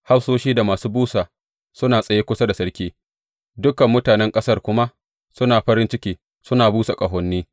Hafsoshi da masu busa suna tsaye kusa da sarki, dukan mutanen ƙasar kuma suna farin ciki suna busa ƙahoni.